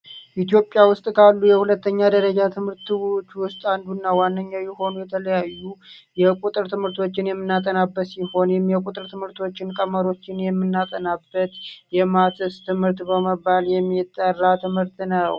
ኢትዮጵያ ውስጥ ካሉ የሁለተኛ ደረጃ ትምህርት ቤቶች ውስጥ አንዱ ዋንኛው የሆኑ የተለያዩ የቁጥር ትምህርቶችን የምናጠናበት እንዲሁም ቀመሮችን የምናጠናበት የማስት ትምህርት የሚባል የሚጠራ ትምህርት ነው።